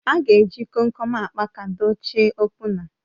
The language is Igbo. A ga-eji Kom kom akpaka dochie opuna